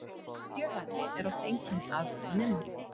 Fjölhæfni er oft einkenni afburðanemenda